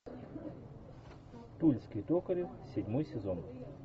тульский токарев седьмой сезон